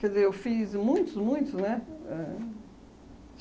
Quer dizer, eu fiz muitos, muitos, né? Éh